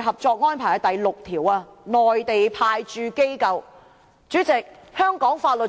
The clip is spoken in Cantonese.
合作安排》第六條，"內地派駐機構"為何。